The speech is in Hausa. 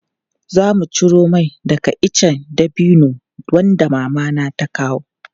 Zamu ciro mai daga ice dabino wanda Mama ta kawo.